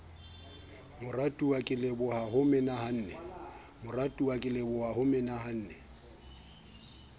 moratuwa ke lebohile ho menahane